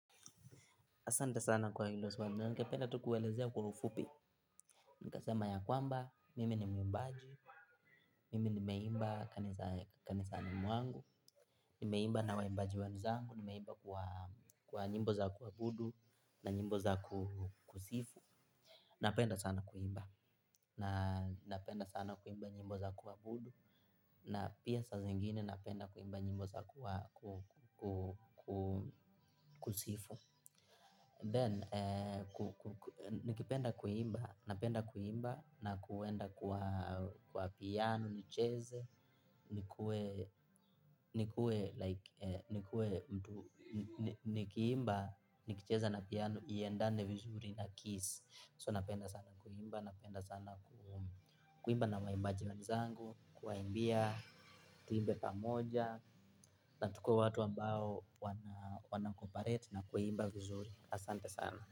Asante sana kwa hilo swali ningependa tu kuwaelezea kwa ufupi nitasema ya kwamba mimi ni muimbaji, mimi nimeimba kanisani mwangu, nimeimba na waimbaji wenzangu, nimeimba kwa nyimbo za kuabudu, na nyimbo za kusifu, napenda sana kuimba, napenda sana kuimba nyimbo za kuabudu, na pia saa zingine napenda sana kuimba njimbo za kusifu. Then, nikipenda kuimba, napenda kuimba na kwenda kwa piano, nicheze, nikue, nikue nikue mtu nikiimba nikicheza na piano iendane vizuri na keys. So napenda sana kuimba, napenda sana kuimba na waimbaji wenzangu kuwa imbia tuimbe pamoja na tukue watu ambao wana cooparate na kuimba vizuri, asante sana.